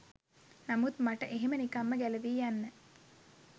නමුත් මට එහෙම නිකම්ම ගැලවී යන්න